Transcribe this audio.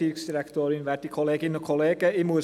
Kommissionssprecher der FiKo-Mehrheit.